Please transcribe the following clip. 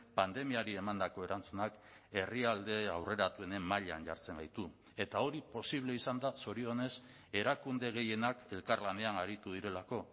pandemiari emandako erantzunak herrialde aurreratuenen mailan jartzen gaitu eta hori posible izan da zorionez erakunde gehienak elkarlanean aritu direlako